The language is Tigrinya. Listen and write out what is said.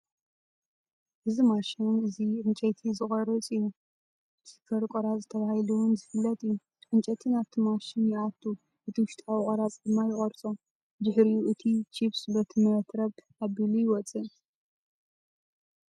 እዚ ማሽን እዚ ዕንጨይቲ ዝቆርፅ እዩ ቺፐር ቍራፂ ተባሂሉ እውን ዝፍለጥ እዩ። ዕንጨይቲ ናብቲ ማሽን ይኣቱ እቲ ውሽጣዊ ቆራፂ ድማ ይቆርፆ። ድሕሪኡ እቲ ቺፕስ በቲ መትረብ ኣቢሉ ይወጽእ።